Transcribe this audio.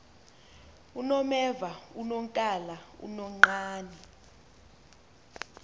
unomeva unonkala unonqane